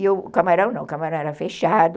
E o camarão não, o camarão era fechado.